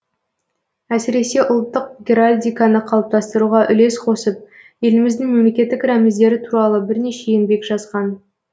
әсіресе ұлттық геральдиканы қалыптастыруға үлес қосып еліміздің мемлекеттік рәміздері туралы бірнеше еңбек жазған